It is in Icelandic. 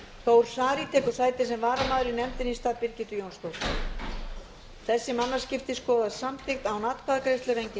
þór saari tekur sæti sem varamaður í nefndinni stað birgittu jónsdóttur þessi mannaskipti skoðast samþykkt án atkvæðagreiðslu